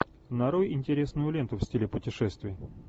нарой интересную ленту в стиле путешествия